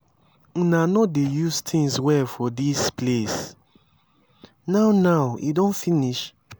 una no dey use things well for dis place now now e don finish.